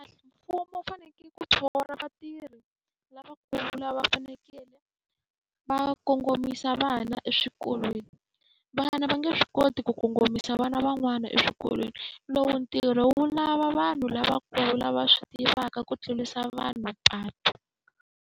Mfumo wu fanekele ku thola vatirhi lavakulu lava va fanekeleke va kongomisa vana eswikolweni. Vana va nge swi koti ku kongomisa vana van'wana eswikolweni, lowu ntirho wu lava vanhu lavakulu lava swi tivaka ku tlurisa vanhu mapatu.